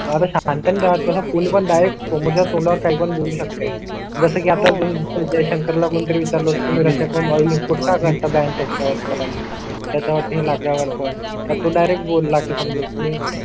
बारा शाखां त्यांना आता कोणी पण डायरेक्ट मला तुम्हाला काही पण बोलू शकते. जसं की आतापर्यंत जयशंकर ला पण विचारलात तुम्ही अशा कौल इनपुट का करता बॅंक असता वर पण त्याच्यावरती लागल्या वर पण तू डायरेक्ट बोल ला की समजा तुम्ही